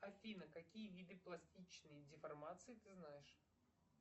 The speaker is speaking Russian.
афина какие виды пластичной деформации ты знаешь